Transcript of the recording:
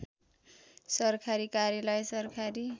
सरकारी कार्यालय सरकारी